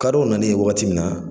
Kadɔw nalen wagati min na